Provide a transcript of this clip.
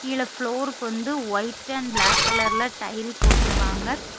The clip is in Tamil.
கீழ ப்ளோருக்கு வந்து ஒயிட் அண்ட் பிளாக் கலர்ல டைல் போட்டிருக்காங்க.